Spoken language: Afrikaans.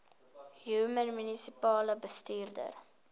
human munisipale bestuurder